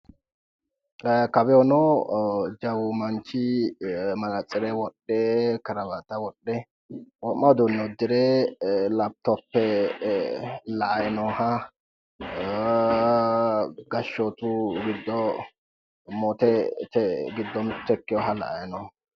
Kawiicho jawu manchi manatsire wodhe karawata wodhe wo'ma uduunne uddire laptoppe la'ayi noota gashshootu giddo moote ikke mitto ikkeeha la'ayi noommo.